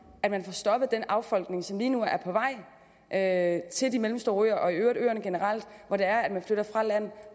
at man får stoppet den affolkning af de mellemstore øer og øerne generelt